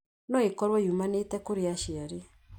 no ikorũo yumanĩte kũrĩ aciari.